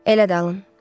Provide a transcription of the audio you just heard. Elə də alın.